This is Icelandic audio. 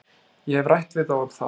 Ég hef rætt við þá um það.